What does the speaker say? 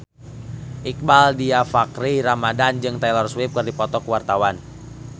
Iqbaal Dhiafakhri Ramadhan jeung Taylor Swift keur dipoto ku wartawan